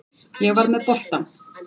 Ég var með boltann.